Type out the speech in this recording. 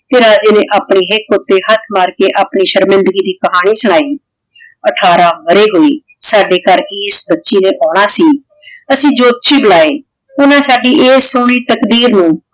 ਤੇ ਰਾਜੇ ਨੇ ਆਪਣੀ ਹਿਕ ਊਟੀ ਹੇਠ ਮਾਰ ਕੇ ਆਪਣੀ ਸ਼ਿਰ੍ਮਿਨ੍ਦਗੀ ਦੀ ਕਹਾਨੀ ਸੁਨਾਈ। ਅਠਾਰਾਂ ਵਰੇ ਹੂਏ ਸਾਡੇ ਘਰ ਇਸ ਬੱਚੀ ਆਉਣਾ ਸੀ ਅਸੀਂ ਜੋਤਸ਼ੀ ਬੁਲਾਏ ਓਹਨਾਂ ਸਾਡੀ ਇਹ ਸੋਹਨੀ ਤਕਦੀਰ ਨੂ